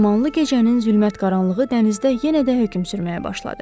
Dumanlı gecənin zülmət qaranlığı dənizdə yenə də hökm sürməyə başladı.